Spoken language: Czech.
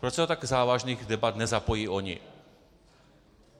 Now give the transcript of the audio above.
Proč se do tak závažných debat nezapojí oni?